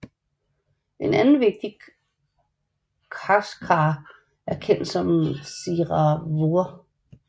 En anden vigtig Khachkar er kendt som Tsiranavour